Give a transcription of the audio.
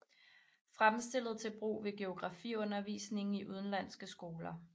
Fremstillet til brug ved geografiundervisningen i udenlandske skoler